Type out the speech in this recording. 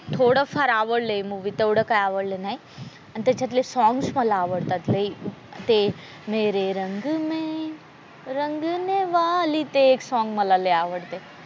थोडं फार आवडलं हे मूवी तेवढं काही आवडलं नाही आणि त्याच्यातले सॉंग्स मला आवडतात लय ते मेरे रंग में रंगने वाली ते एक सोंग मला लय आवडते.